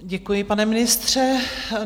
Děkuji, pane ministře.